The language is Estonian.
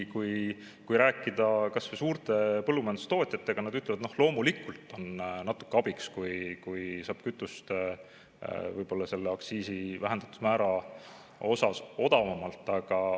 Kui rääkida kas või suurte põllumajandustootjatega, siis nad ütlevad, et loomulikult on natuke abiks, kui saab kütust selle aktsiisi vähendatud määra osas odavamalt.